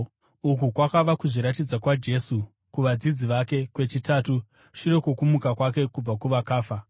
Uku kwakava kuzviratidza kwaJesu kuvadzidzi vake kwechitatu shure kwokumuka kwake kubva kuvakafa.